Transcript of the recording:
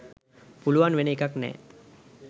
පුළුවන් වෙන එකක් නෑ.